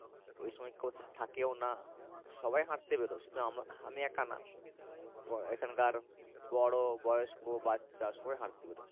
ওই সময় কেউ থেকেও না সবাই হাঁটতে বেরোয় শুধু আমি একা না এখানকার বড়ো বয়স্ক বাচ্চা সবাই হাঁটতে বেরোয়।